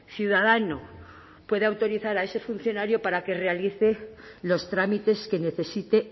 ciudadano pueda autorizar a ese funcionario para que realice los trámites que necesite